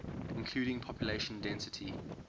including population density